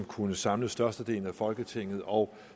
kunne samle størstedelen af folketinget og